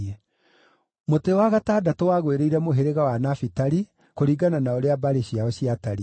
Mũtĩ wa gatandatũ wagwĩrĩire mũhĩrĩga wa Nafitali, kũringana na ũrĩa mbarĩ ciao ciatariĩ: